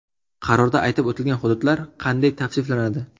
Qarorda aytib o‘tilgan hududlar qanday tavsiflanadi?